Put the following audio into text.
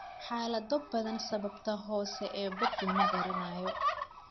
Xaalado badan, sababta hoose ee BOOP lama garanayo.